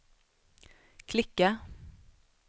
klicka